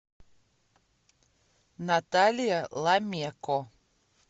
наталья ламеко